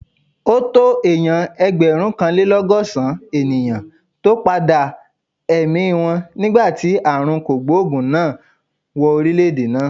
Ó tó èèyàn ẹgbẹ̀rúnkanlélọ́gọ́sàn-án ènìyàn tó padà èmi wọn nígbà tí ààrùn kògbòògùn náà wọ orílè-èdè náà